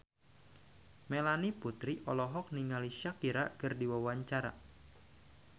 Melanie Putri olohok ningali Shakira keur diwawancara